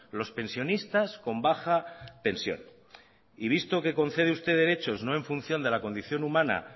los pensionistas con baja pensión y visto que concede usted derechos no en función de la condición humana